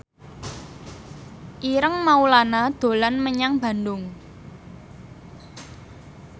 Ireng Maulana dolan menyang Bandung